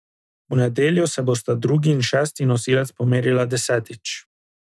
V nedeljo se bosta drugi in šesti nosilec pomerila desetič.